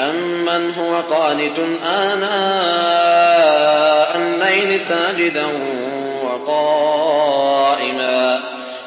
أَمَّنْ هُوَ قَانِتٌ آنَاءَ اللَّيْلِ سَاجِدًا وَقَائِمًا